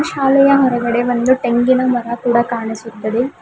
ಶಾಲೆಯ ಹೊರಗಡೆ ಬಂದು ಟೇಂಗಿನ ಮರ ಕೂಡ ಕಾಣಿಸುತ್ತದೆ.